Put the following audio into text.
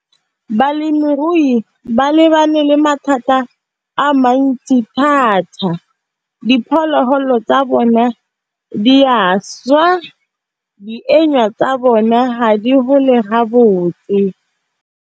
Balemirui ba lebane le mathata a mantsi thata, diphologolo tsa bona di a swa tsa bona ga di gole gabotse.